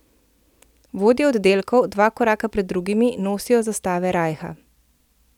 Vodje oddelkov, dva koraka pred drugimi, nosijo zastave rajha.